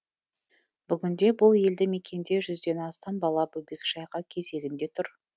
бүгінде бұл елді мекенде жүзден астам бала бөбекжайға кезегінде тұр